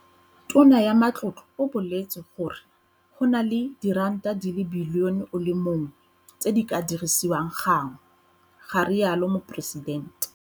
"Tona ya Matlotlo o boletse gore go na le diranta di le bilione o le mongwe tse di ka dirisiwang ka gangwe," ga rialo Moporesidente.